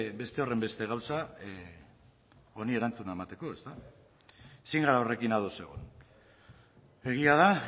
beste horrenbeste gauza honi erantzuna emateko ezin gara horrekin ados egon egia da